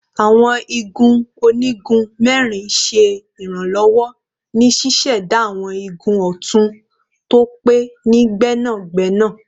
Awọn igun onigun mẹrin ṣe iranlọwọ ni ṣiṣẹda awọn igun ọtun to pe ni gbẹnagbẹna